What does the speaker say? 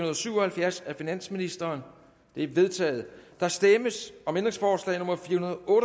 og syv og halvfjerds af finansministeren det er vedtaget der stemmes om ændringsforslag nummer fire